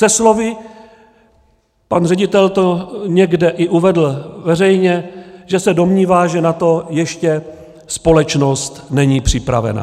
Se slovy, pan ředitel to někde i uvedl veřejně, že se domnívá, že na to ještě společnost není připravena.